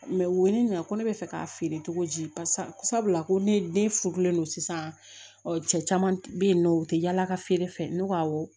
u ye ne ɲininka ko ne bɛ fɛ k'a feere cogo di paseke sabula ko ne furulen don sisan cɛ caman bɛ yen nɔ u tɛ yaala ka feere fɛ ne ko awɔ